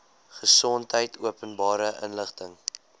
gesondheid openbare inligting